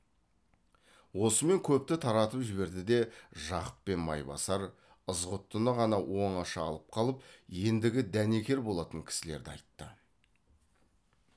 осымен көпті таратып жіберді де жақып пен майбасар ызғұттыны ғана оңаша алып қалып ендігі дәнекер болатын кісілерді айтты